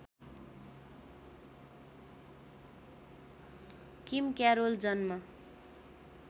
किम Carroll जन्म